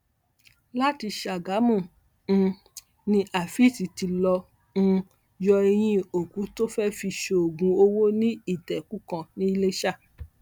láti ṣàgámù um ni afeez ti lọọ um yọ ẹyin òkú tó fẹẹ fi ṣoògùn owó ní ìtẹkùú kan ń iléṣà